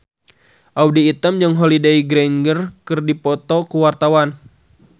Audy Item jeung Holliday Grainger keur dipoto ku wartawan